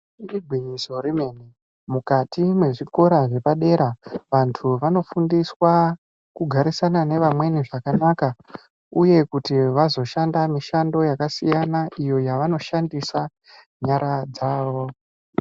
Igwinyiso remene mukati mwezvikora zvepadera vantu vanofundiswa kugarisana nevamweni zvakanaka uye kuti vazoshanda mishando yakasiyana iyo vanoshandisa nyara dzavo.